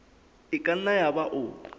e ka nna yaba o